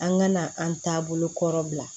An ka na an taabolo kɔrɔ bila